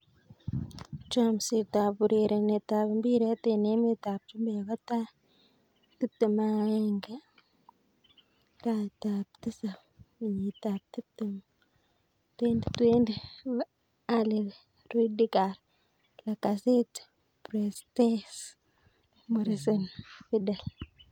Chomset ab urerenet ab mbiret eng emet ab chumbek kotaai 21.09.2020: Alli, Rudiger, Lacazette, Brewster, Morrison, Vidal